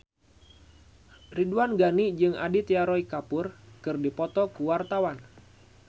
Ridwan Ghani jeung Aditya Roy Kapoor keur dipoto ku wartawan